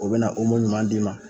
O be na omo ɲuman d'i ma